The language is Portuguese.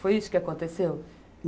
Foi isso que aconteceu?